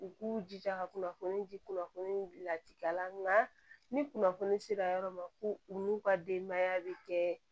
U k'u jija ka kunnafoni di kunnafoni bila tida la ni kunnafoni sera yɔrɔ ma ko u n'u ka denbaya bi kɛ